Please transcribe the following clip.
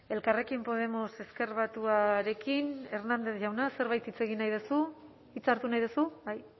elkarrekin podemos ezker batuarekin hernández jauna zerbait hitz egin nahi duzu hitza hartu nahi duzu bai